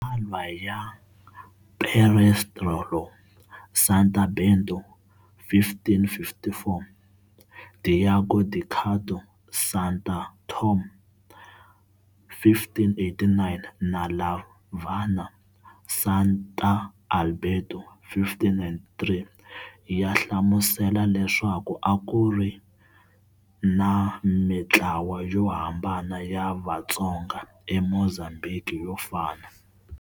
Matsalwa ya Perestrello, Santa Bento, 1554, Diogo de Couto, Santa Thome, 1589, na Lavanha, Santa Alberto, 1593, ya hlamusela leswaku a ku ri na mitlawa yo hambana ya Vatsonga eMozambiki yo fana.